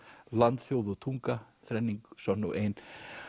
Land þjóð og tunga þrenning sönn og ein